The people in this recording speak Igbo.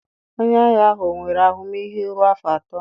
Onye ahịa ahụ ọ nwere ahụmịhe ruo afọ atọ?